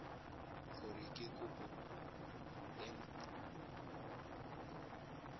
gore ke kopo e nt